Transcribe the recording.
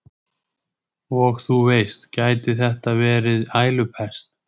Og þú veist, gæti þetta verið ælupest?